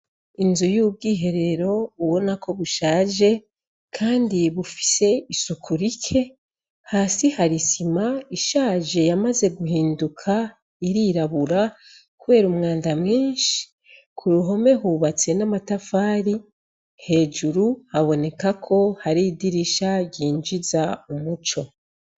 Inzu y'ubwo iherero uwona ko bushaje, kandi bufise isuku rike hasi harisima ishaje yamaze guhinduka irirabura, kubera umwanda mwinshi ku ruhome hubatse n'amatafari hejuru habonekako hari idirisha ryinjiza umuco.